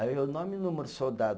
Aí eu, nome e número do soldado.